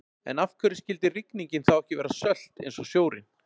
en af hverju skyldi rigningin þá ekki vera sölt eins og sjórinn